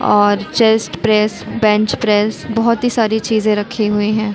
और chest press bench press बहुत ही सारी चीज़ें रखी हुई है।